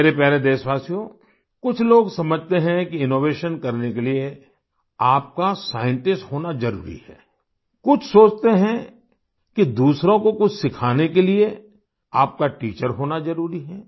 मेरे प्यारे देशवासियो कुछ लोग समझते हैं कि इनोवेशन करने के लिए आपका साइंटिस्ट होना जरूरी है कुछ सोचते हैं कि दूसरों को कुछ सिखाने के लिए आपका टीचर होना जरूरी है